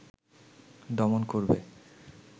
দমন করবে